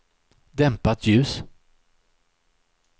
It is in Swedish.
dämpat ljus